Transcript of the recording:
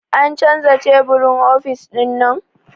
A canza teburin ofis ɗinnan?